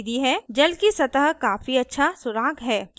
जल की सतह काफी अच्छा सुराग है